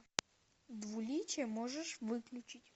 двуличие можешь выключить